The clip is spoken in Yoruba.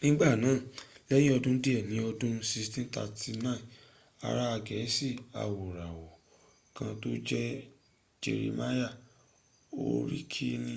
nigbanaa lẹyin ọdun diẹ ni ọdun 1639 ara gẹẹsi awoirawọ kan to n jẹ jerimaya horiki ri